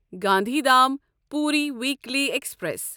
Gandhidham Puri weekly express